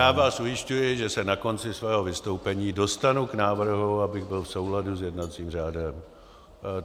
Já vás ujišťuji, že se na konci svého vystoupení dostanu k návrhu, abych byl v souladu s jednacím řádem.